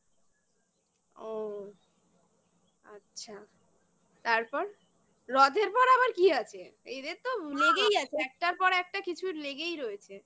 ও আচ্ছা তারপর রথের পর আবার কি আছে? এদের তো লেগেই আছে একটার পর একটা কিছু লেগেই রয়েছে